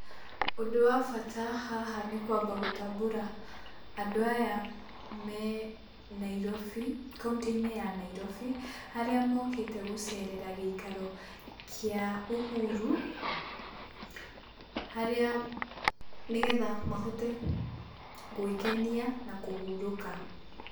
Ũndũ wa bata haha nĩ kwamba gũtambũra andũ aya me Nairobi, kauntĩ-inĩ ya Nairobi harĩa mokĩte gũcerera gĩikaro kĩa Uhuru, harĩa, nĩgetha mahote gwĩkenia na kũhurũka.